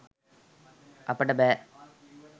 අපට බෑ